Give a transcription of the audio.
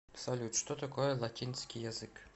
салют что такое латинский язык